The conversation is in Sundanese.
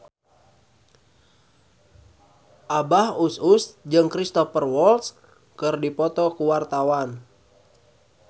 Abah Us Us jeung Cristhoper Waltz keur dipoto ku wartawan